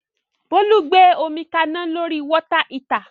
Bólú gbé omi kaná lórí Water heater